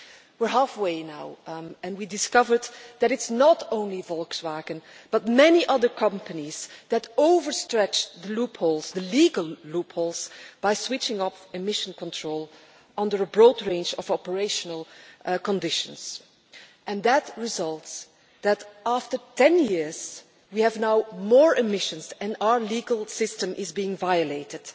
We are halfway now, and we discovered that it is not only Volkswagen, but many other companies that overstretched loopholes the legal loopholes by switching off emission control under a broad range of operational conditions, with the result that after 10 years we have now more emissions and our legal system is being violated.